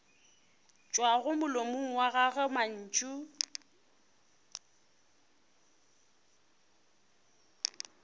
tšwago molomong wa gago mantšu